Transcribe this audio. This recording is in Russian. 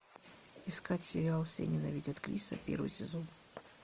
искать сериал все ненавидят криса первый сезон